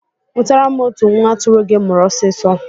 Nwụtara m otu nwa atụrụ gị mụrụ ọsịsọ